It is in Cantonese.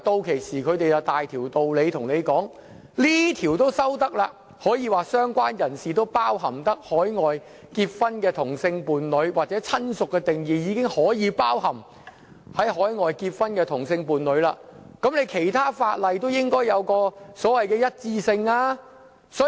屆時，他們便有道理說，既然這項條例的"相關人士"定義已涵蓋海外結婚的同性伴侶，或"親屬"的定義已涵蓋海外結婚的同性伴侶，那其他法例也應該有所謂的一致性。